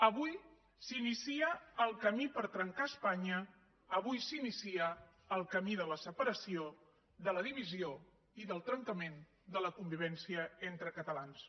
avui s’inicia el camí per trencar espanya avui s’inicia el camí de la separació de la divisió i del trencament de la convivència entre catalans